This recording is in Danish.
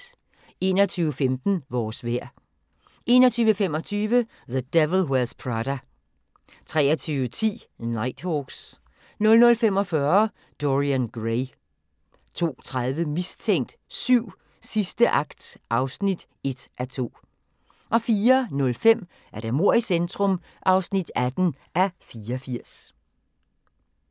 21:15: Vores vejr 21:25: The Devil Wears Prada 23:10: Nighthawks 00:45: Dorian Gray 02:30: Mistænkt 7: Sidste akt (1:2) 04:05: Mord i centrum (18:84)